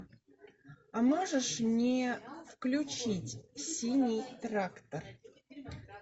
а можешь мне включить синий трактор